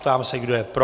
Ptám se, kdo je pro.